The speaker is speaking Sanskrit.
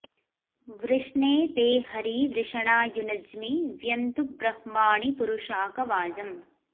वृष्णे ते हरी वृषणा युनज्मि व्यन्तु ब्रह्माणि पुरुशाक वाजम्